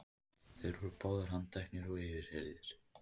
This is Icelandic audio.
Þeir voru báðir handteknir og yfirheyrðir